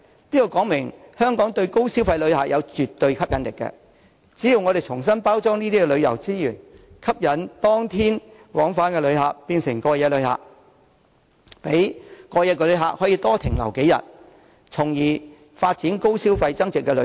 這說明香港對高消費旅客是絕對有吸引力，我們應重新包裝這些旅遊資源，吸引當天往返旅客變為過夜旅客，讓過夜旅客多停留數天，從而發展高消費增值旅遊。